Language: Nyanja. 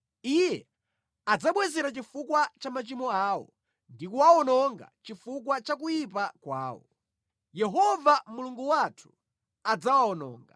Iye adzawabwezera chifukwa cha machimo awo ndi kuwawononga chifukwa cha kuyipa kwawo; Yehova Mulungu wathu adzawawononga.